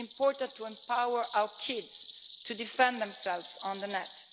It is important to empower our kids to defend themselves on the net.